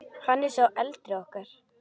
Hann er sá eldri okkar.